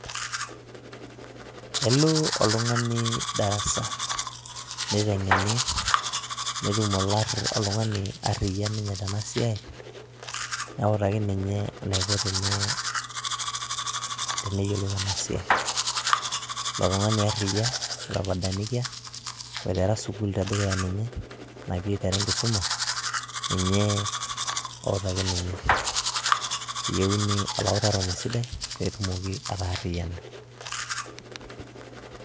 Kelo oltung'ani darasa niteng'eni netum oltung'ani arriyia ninye tenasiaai neutaki ninye eniko teneyiolou enasiaai, ilotung'ani arriyia otopadanikia oitera sukuul tedikuya ninye, eyieuni olautaroni sidai pee etumoki ataariyiana.